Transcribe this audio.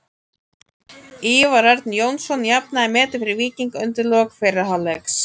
Ívar Örn Jónsson jafnaði metin fyrir Víking undir lok fyrri hálfleiks.